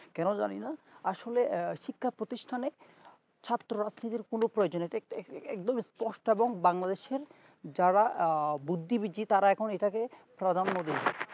কেন জানি না আসলো আহ শিক্ষা প্রতিষ্টানে ছাত্ররা প্রয়োজন এতে একদম পোস্ট এবং bangladesh এর যারা বুদ্ধিবীজী তারা এখন এটাকে প্রাধান্য দেয়